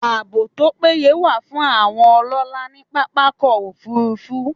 Ààbò tó péye wà fún àwọn ọlọ́lá ní pápákọ̀ -òfurufú